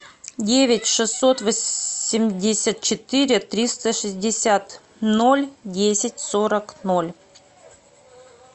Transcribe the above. девять шестьсот восемьдесят четыре триста шестьдесят ноль десять сорок ноль